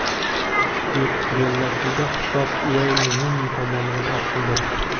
Bellashuvda hisob Ueyn Runi tomonidan ochildi.